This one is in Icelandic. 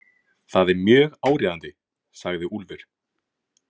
Það er mjög áríðandi, sagði Úlfur.